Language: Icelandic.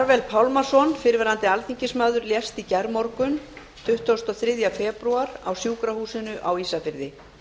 karvel pálmason fyrrverandi alþingismaður lést í gærmorgun tuttugasta og þriðja febrúar á sjúkrahúsinu á ísafirði